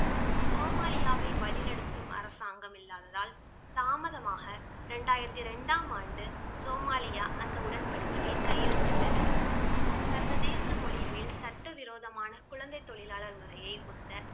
சோமாலியாவை வழிநடத்தும் அரசாங்கம் இல்லாததால் தாமதமாக இரண்டாயிரத்தி இரண்டாம் ஆண்டு சோமாலியா அந்த உடன்படிக்கையில் கையெழுத்திட்டது. சர்வதேச மொழிகளில் சட்டவிரோதமான குழந்தை தொழிலாளர் முறையை ஒத்த